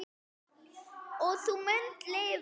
Og þú munt lifa!